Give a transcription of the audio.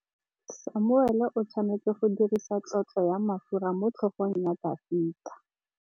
Samuele o tshwanetse go dirisa tlotsô ya mafura motlhôgong ya Dafita.